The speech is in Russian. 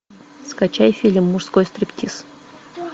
скачай фильм мужской стриптиз